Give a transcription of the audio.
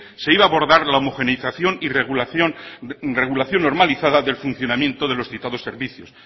se iba a bordar la homogenización y regulación normalizada del funcionamiento de los citados servicios